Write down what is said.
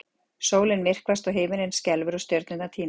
Sólin myrkvast og himinninn skelfur og stjörnurnar týnast!